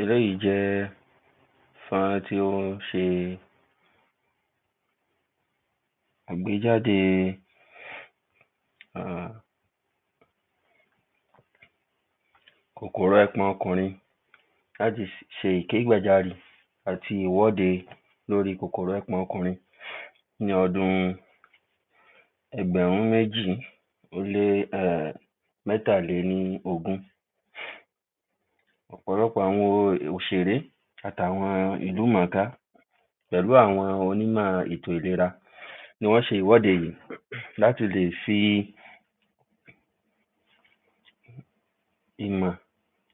Eléyìí jẹ́ fọ́nrán tí ó ṣe ìgbéjáde um kòkòrò ẹpọ̀n ọkùnrin láti ṣe ìkégbàjarì àti ìwọ́de lórí kòkòrò ẹpọ̀n ọkùnrin ní ọdún ẹgbẹ̀rún méjì, ó lé um mẹ́tàlélógún. Ọ̀pọ̀lọpọ̀ àwọn òṣèré, àti àwọn ìlú mọ̀ọ́ká pẹ̀lú àwọn onímọ̀ ètò ìlera ni wọ́n ṣe ìwọ́de yìí láti lè fi ìmọ̀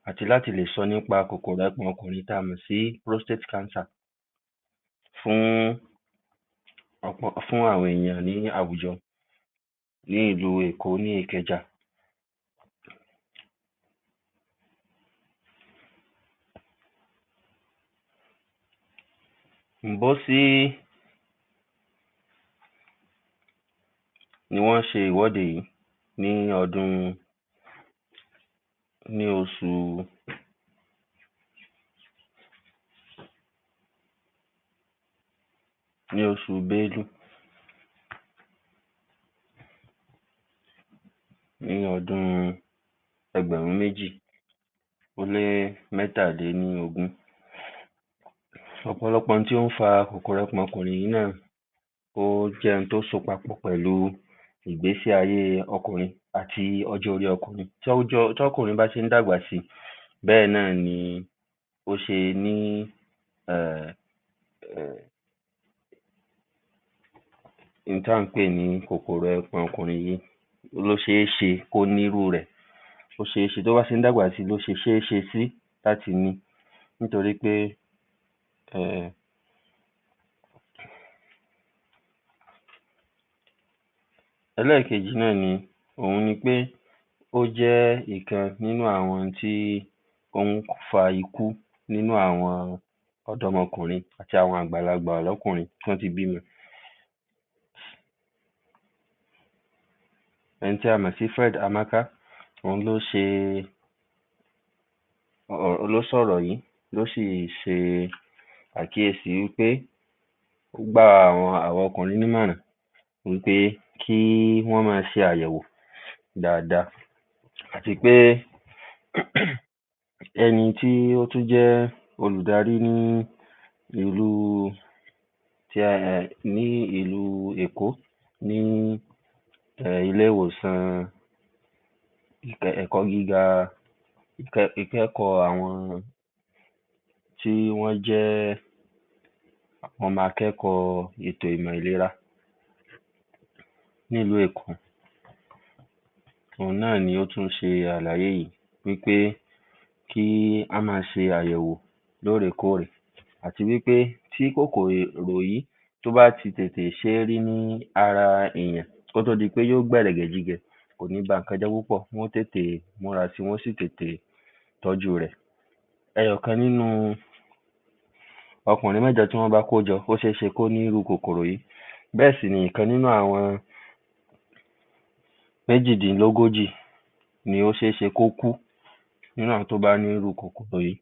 àti láti lè sọ nípa kòkòrò ẹpọ̀n ọkùnrin tí a mọ̀ sí postrate cancer. fún àwọn ènìyàn ní àwùjọ, ní ìlú Èkó, ní Ìkẹjà. ǹbọ́sí ni wọ́n ṣe ìwọ́de yìí ní ọdún, ní oṣù ní oṣù bẹ́lú, ní ọdún ẹgbẹ̀rún méjì, ó lé mẹ́tàlélógún. ọ̀pọ̀lọpọ̀ ohun tó ń fa kòkòrò ẹpọ̀n ọkùnrin yìí náà, ó jẹ́ ohun tó so papọ̀ pẹ̀lú ìgbésí-ayé ọkùnrin àti ọjọ́ orí ọkùnrin. Tí ọkùnrin bá ṣe ń dàgbà si, bẹ́ẹ̀ náà ni ó ṣe ní um um ohun tí à ń pè ní kòkòrò ẹpọ̀n ọkùnrin yìí, ó ṣé ṣe, kó ní irú rẹ̀ bó ṣe ń dàgbà si, ló ṣe ṣéṣe sí láti ní nítorí pé um Ẹlẹ́kejì náà ni, òun ni pé ó jẹ́ òkan nínú àwọn ohun tí ó ń fa ikú nínú àwọn ọ̀dọ́mọkùrin àti àwọn àgbàlagbà lọ́kùnrin tọ́ ti bímọ. Ẹni tí a mọ̀ sí Fred Amaka, òun ló ṣe um ló sọ ọ̀rọ̀ yìí, ló si ṣe àkíyèsí wí pé, ó gba àwọn ọkùnrin ní ìmọ̀ràn, wí pé kí wọ́n máa ṣe àyẹ̀wò dáadáa àti pé ẹni tí ó tún jẹ́ olúdarí ní ìlú ní ìlú Èkó, ní ilé ìwòsàn ilé ẹ̀kọ́ gíga, ìkẹ́kọ̀ọ́ àwọn tí wọ́n jẹ́ ọmọ akẹ́kọ̀ọ́ ìmọ̀ ètò ìlera ní ìlú Èkó. Òun náà ni ó tún ṣe àlàyé yìí wí pé kí wọ́n máa ṣe àyẹ̀wò lórèkórè àti wí pé tí kòkòrò yìí, tó bá ti tètè ṣé rí ní ara èèyàn, kó tó di pé yó gbẹ̀rẹ̀jẹ̀gijẹ̀, kò ní ba ǹnkan jẹ́ púpọ̀, wọ́n tètè múrasi, wọ́n sí tètè tọ́jú rẹ̀. ọ̀kan nínú ọkùnrin mẹ́jọ tí wọ́n bá kójọ, ó ṣéṣe kó ní irú kòkòrò yìí. bẹ́ẹ̀ sì ni ọ̀kan nínú àwọn méjìdínlógójì ni ó ṣé ṣe kí ó kú náà tó bá ní irú kòkòrò yìí.